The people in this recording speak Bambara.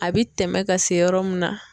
A bɛ tɛmɛ ka se yɔrɔ mun na.